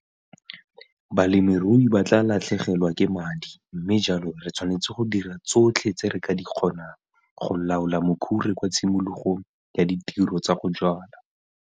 Balemirui ba tlaa latlhagelwa ke madi mme jalo re tshwanetse go dira tsotlhe tse re ka di kgonang go laola mokhure kwa tshimologong ya ditiro tsa go jwala.